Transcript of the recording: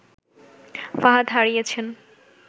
ফাহাদ হারিয়েছেন